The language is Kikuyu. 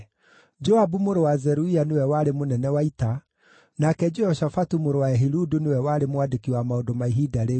Joabu mũrũ wa Zeruia nĩwe warĩ mũnene wa ita; nake Jehoshafatu mũrũ wa Ehiludu nĩwe warĩ mwandĩki wa maũndũ ma ihinda rĩu;